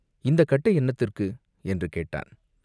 "இந்தக் கட்டை என்னத்திற்கு?" என்று கேட்டான்.